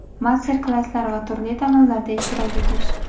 master klasslar va turli tanlovlarda ishtirok etish.